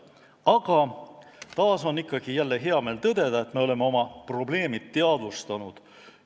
Aga ikkagi on hea meel tõdeda, et me oleme oma probleemid teadvustanud.